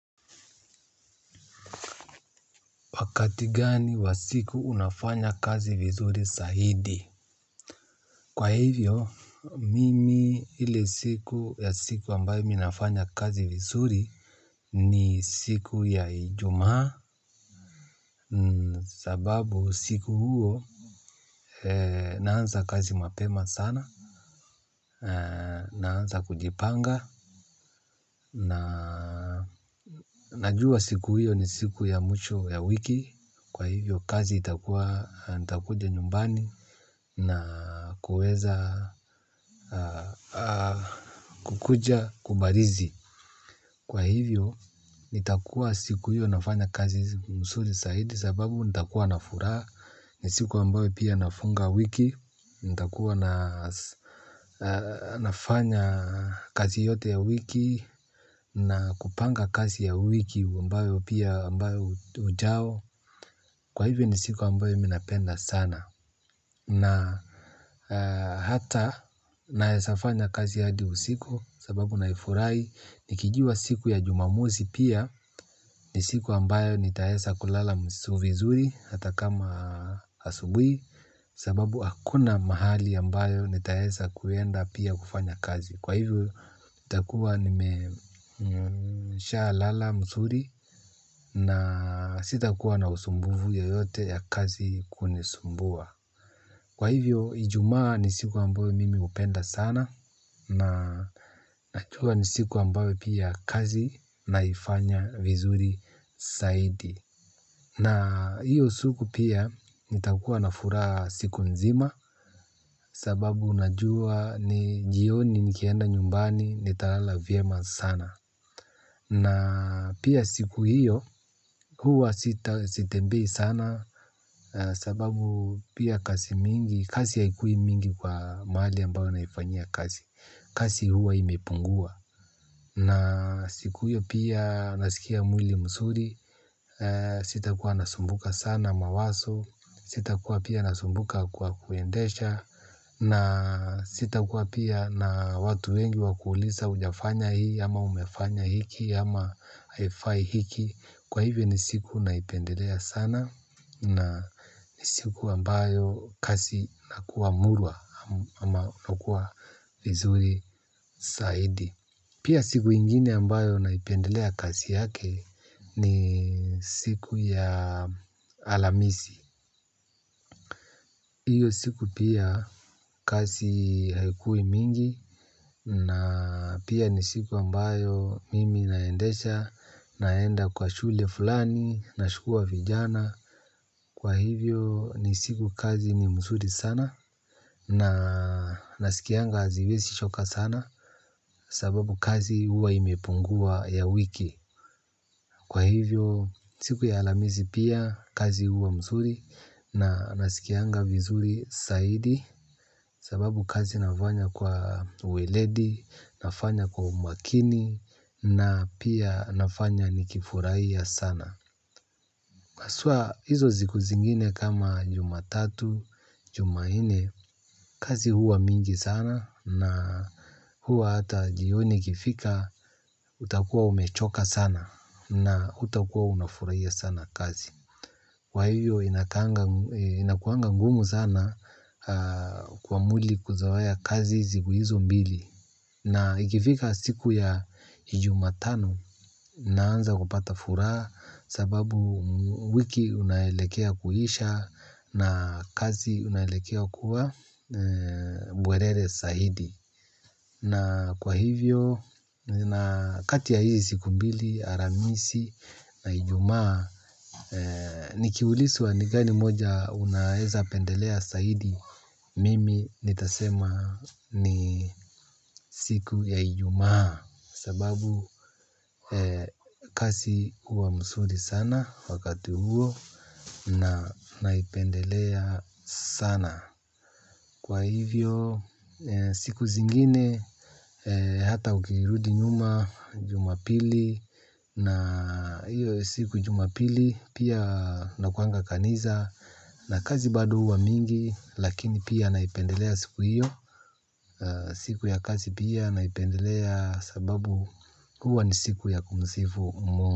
Wakati gani wa siku unafanya kazi vizuri sahidi? Kwa hivyo, mimi ile siku ya siku ambayo mi nafanya kazi vizuri ni siku ya ijumaa sababu siku huo naanza kazi mapema sana, naanza kujipanga. Na najua siku hiyo ni siku ya mwisho ya wiki kwa hivyo kazi itakuwa nitakuja nyumbani na kuweza kukuja kubarizi kwa hivyo nitakuwa siku hiyo nafanya kazi msuri saidi sababu nitakuwa na furaha ni siku ambayo pia nafunga wiki nitakuwa na nafanya kazi yote ya wiki na kupanga kazi ya wiki ambayo pia ambayo ujao kwa hivyo ni siku ambayo mi napenda sana na hata naeza fanya kazi hadi usiku sababu naifurahi nikijua siku ya jumamosi pia ni siku ambayo nitaesa kulala vizuri hata kama asubui sababu hakuna mahali ambayo nitaesa kuenda pia kufanya kazi kwa hivyo nitakuwa nime nishalala msuri na sitakuwa na usumbuvu yoyote ya kazi kunisumbua. Kwa hivyo, ijumaa ni siku ambayo mimi hupenda sana. Na chua ni siku ambayo pia kazi naifanya vizuri saidi na hiyo siku pia nitakuwa na furaha siku mzima. Sababu unajua ni jioni nikienda nyumbani nitalala vyema sana na pia siku hiyo huwa sitembei sana sababu pia kazi mingi kazi haikuwi mingi kwa mahali ambayo naifanyia kazi kazi huwa imepungua. Na siku hiyo pia nasikia mwili msuri sitakuwa nasumbuka sana mawaso sitakuwa pia nasumbuka kwa kuendesha na sitakuwa pia na watu wengi wa kuuliza hujafanya hii ama umefanya hiki ama haifai hiki kwa hivyo ni siku naipendelea na ni siku ambayo kasi inakua murwa ama kukuwa vizuri saidi. Pia siku ingine ambayo naipendelea kasi yake ni siku ya alamisi. Iyo siku pia kasi haikuwi mingi na pia ni siku ambayo mimi naendesha naenda kwa shule fulani na shukua vijana. Kwa hivyo ni siku kazi ni msuri sana na nasikianga aziwesi choka sana sababu kazi huwa imepungua ya wiki. Kwa hivyo siku ya alamisi pia kazi huwa msuri na nasikianga vizuri saidi sababu kazi nafanya kwa uweledi nafanya kwa umakini na pia nafanya nikifurahia sana haswa hizo ziku zingine kama jumatatu, jumanne, kazi huwa mingi sana na huwa hata jioni ikifika utakuwa umechoka sana na hutakuwa unafurahia sana kazi. Kwa hivyo inakuanga ngumu sana kwa mwili kuzoea kazi siku hizo mbili na ikifika siku ya jumatano naanza kupata furaha sababu wiki unaelekea kuisha na kazi unaelekea kuwa bwerere saidi. Na kwa hivyo, kati ya hizi siku mbili, aramisi na ijumaa, nikiuliswa ni gani moja unaeza pendelea saidi, mimi nitasema ni siku ya ijumaa, sababu kasi huwa msuri sana wakati huo na naipendelea sana. Kwa hivyo siku zingine hata ukirudi nyuma jumapili na hiyo siku jumapili pia nakuanga kaniza na kazi bado huwa mingi lakini pia naipendelea siku hiyo siku ya kazi pia naipendelea sababu kuwa ni siku ya kumsifu mu.